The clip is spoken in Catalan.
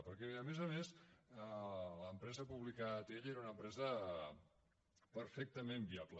perquè a més a més l’empresa pública atll era una empresa perfectament viable